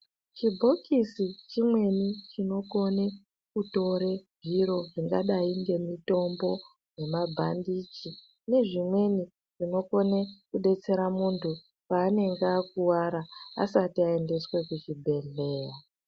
Chibhokisi chimweni chinokona kutore zviro zvakadai ngemitombo nemabhandichi nezvimweni zvinokona kudetsera munhu paanenge akuwara asati aendeswe kuchibhehlera .